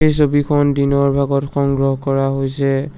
ছবিখন দিনৰ ভাগত সংগ্ৰহ কৰা হৈছে।